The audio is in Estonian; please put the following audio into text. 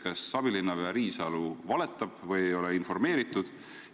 Kas abilinnapea Riisalu valetab või ei ole teda informeeritud?